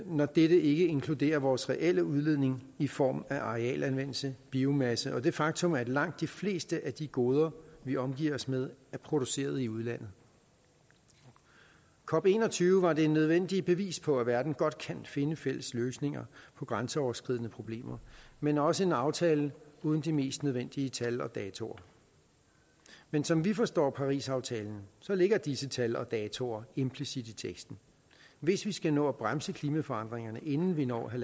når dette ikke inkluderer vores reelle udledning i form af arealanvendelse biomasse og det faktum at langt de fleste af de goder vi omgiver os med er produceret i udlandet cop21 var det nødvendige bevis på at verden godt kan finde fælles løsninger på grænseoverskridende problemer men også en aftale uden de mest nødvendige tal og datoer men som vi forstår parisaftalen ligger disse tal og datoer implicit i teksten hvis vi skal nå at bremse klimaforandringerne inden vi når